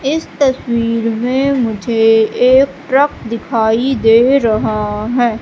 इस तस्वीर में मुझे एक ट्रक दिखाई दे रहा हैं।